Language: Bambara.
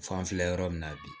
F'an filɛ yɔrɔ min na bi